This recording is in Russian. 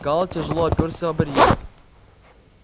гаал тяжело оперся о барьер